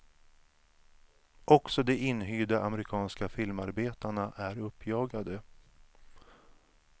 Också de inhyrda amerikanska filmarbetarna är uppjagade.